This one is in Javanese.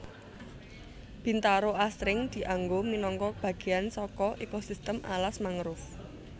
Bintaro asring dianggo minangka bagéyan saka ekosistem alas mangrove